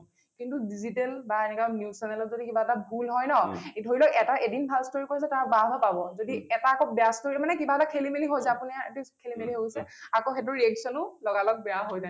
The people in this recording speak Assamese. কিন্তু digital বা এনেকৈ news channel ত যদি কিবা এটা ভুল হয় ন , ধৰি লওক এটা এদিন ভাল story কৰিছে তাৰ বাঃ বাঃ পাব । যদি এটা আকৌ বেয়া story মানে কিবা এটা খেলিমেলি হল যে আপোনাৰ খেলিমেলি হৈ গৈছে , আকৌ সেইটোৰ reaction ও বেয়া হৈ যায়